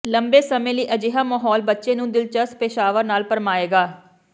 ਲੰਬੇ ਸਮੇਂ ਲਈ ਅਜਿਹਾ ਮਾਹੌਲ ਬੱਚੇ ਨੂੰ ਦਿਲਚਸਪ ਪੇਸ਼ਾਵਰ ਨਾਲ ਭਰਮਾਏਗਾ